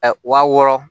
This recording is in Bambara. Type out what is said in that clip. Wa wɔɔrɔ